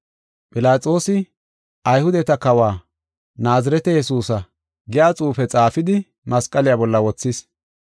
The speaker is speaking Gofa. Philaxoosi, “Ayhudeta Kawa, Naazirete Yesuusa” giya xuufe xaafidi masqaliya bolla wothis.